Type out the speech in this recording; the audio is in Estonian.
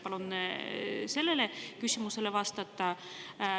Palun sellele küsimusele vastata.